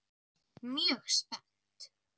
Mjög spennt.